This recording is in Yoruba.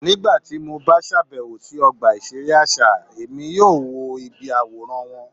Nigbati mo ba ṣabẹwo si ọgba iṣere aṣa, Emi yoo wo ibi aworan wọn